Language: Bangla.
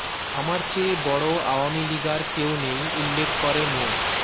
আমার চেয়ে বড় আওয়ামী লীগার কেউ নেই উল্লেখ করে মো